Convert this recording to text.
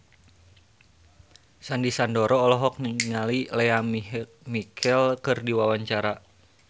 Sandy Sandoro olohok ningali Lea Michele keur diwawancara